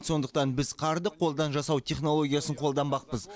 сондықтан біз қарды қолдан жасау технологиясын қолданбақпыз